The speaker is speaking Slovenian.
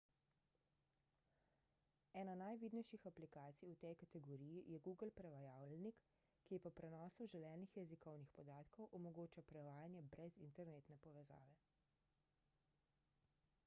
ena najvidnejših aplikacij v tej kategoriji je google prevajalnik ki po prenosu želenih jezikovnih podatkov omogoča prevajanje brez internetne povezave